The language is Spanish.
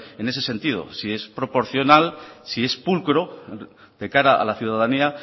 en ese sentido si es proporcional si es pulcro de cara a la ciudadanía